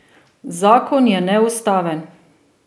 Zakon je neustaven.